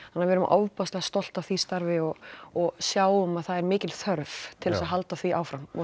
við erum ofboðslega stolt af því starfi og og sjáum að það er mikil þörf til þess að halda því áfram og